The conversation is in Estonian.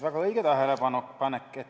Väga õige tähelepanek!